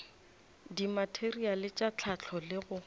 dimateriale tša hlahlo le go